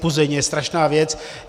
Puzení je strašná věc.